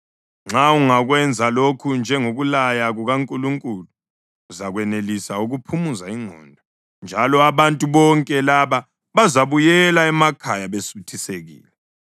Nxa ungakwenza lokhu njengokulaya kukaNkulunkulu, uzakwenelisa ukuphumuza ingqondo njalo abantu bonke laba bazabuyela emakhaya besuthisekile.”